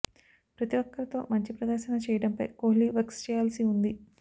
ప్రతీ ఒక్కరితో మంచి ప్రదర్శన చేయడంపై కోహ్లి వర్క్ చేయాల్సి ఉంది